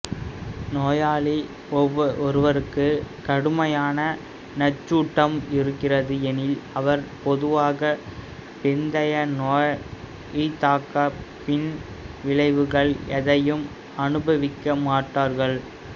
நோயாளி ஒருவருக்கு கடுமையான நஞ்சூட்டம் இருக்கிறது எனில் அவர்கள் பொதுவாக பிந்தைய நோய்த்தாக்கப் பின் விளைவுகள் எதையும் அனுபவிக்க மாட்டார்கள்